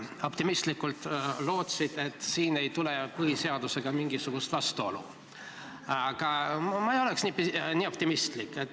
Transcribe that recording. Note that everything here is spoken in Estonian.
Sa optimistlikult lootsid, et siin ei tule põhiseadusega mingisugust vastuolu, aga mina ei oleks nii optimistlik.